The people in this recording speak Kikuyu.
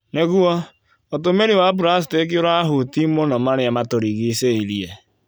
Nĩguo, ũtũmĩri wa pracitĩki ũrahuti mũno marĩa matũrigicĩirie.